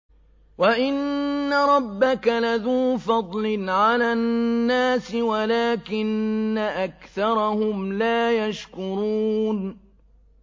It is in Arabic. وَإِنَّ رَبَّكَ لَذُو فَضْلٍ عَلَى النَّاسِ وَلَٰكِنَّ أَكْثَرَهُمْ لَا يَشْكُرُونَ